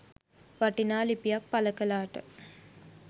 වටිනා ලිපියක් පල කලාට